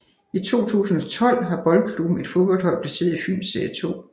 I 2012 har boldklubben et fodboldhold placeret i Fyns serie 2